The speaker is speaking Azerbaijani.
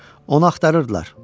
Onu axtarırdılar.